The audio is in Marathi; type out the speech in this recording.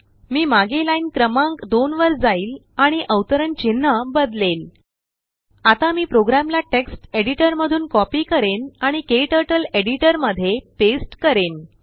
मी मागे लाइन क्रमांक 2 वर जाईल आणिअवतरण चिन्ह बदलेलVideo आता मी प्रोग्रामला टेक्स्ट एडिटरमधून कॉपी करेन आणिKTurtleएडिटरमध्ये पेस्ट करेन